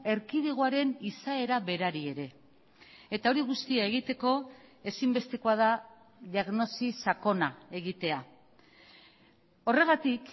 erkidegoaren izaera berari ere eta hori guztia egiteko ezinbestekoa da diagnosi sakona egitea horregatik